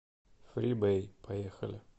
фрибэй поехали